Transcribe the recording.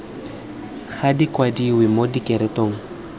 ga di kwadiwe mo direkotong